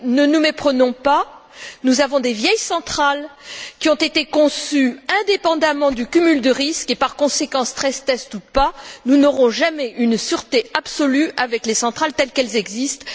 Mais ne nous méprenons pas, nous avons des vieilles centrales, qui ont été conçues indépendamment du cumul de risques et, par conséquent, stress tests ou pas, nous n'aurons jamais une sûreté absolue avec les centrales telles qu'elles existent.